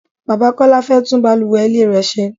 Bàbá Kọ́lá fẹ́ tún bàlùwẹ̀ ilé rẹ ṣe.